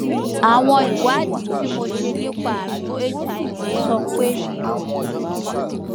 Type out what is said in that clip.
àwọn ìwádìí tí mo ṣe nípa àrùn hiv sọ pe mí o ni